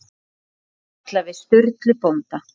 Og spjalli við Sturlu bónda.